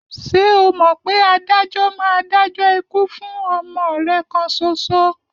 Ṣé o mọ̀ pé adájọ́ máa dájọ́ ikú fún ọmọ rẹ̀ kan ṣoṣo?